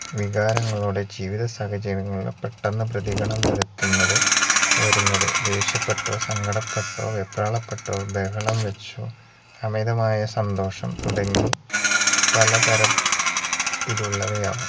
വികാരങ്ങളോടെ ജീവിതസാഹചര്യങ്ങളിൽ പെട്ടന്ന് പ്രതികരണം വരുത്തുന്നത് വരുന്നത് ദേഷ്യപ്പെട്ടോ സങ്കടപ്പെട്ടോ വെപ്രാളപ്പെട്ടൊ ബഹളം വെച്ചോ അമിതമായ സന്തോഷം തുടങ്ങി പലതര ത്തിലുള്ളവയാവാം